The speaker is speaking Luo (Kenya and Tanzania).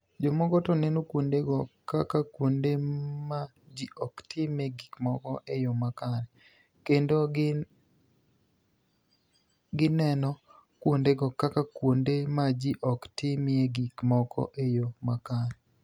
Jomoko to ni eno kuonidego kaka kuonide ma ji ok timie gik moko e yo makare, kenido gini eno kuonidego kaka kuonide ma ji ok timie gik moko e yo makare.